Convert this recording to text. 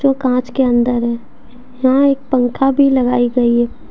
कांच के अंदर है यहां एक पंखा भी लगाई गई है।